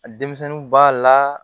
Denmisɛnninw b'a la